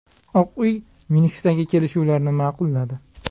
Oq uy Minskdagi kelishuvlarni ma’qulladi.